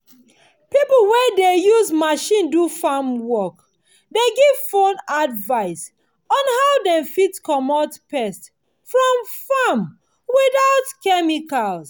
pipo wey dey use machine do farm work dey give phone advice on how dem fit comot pest from farm without chemicals